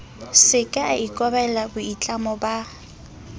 seke a ikobela boitlamo ba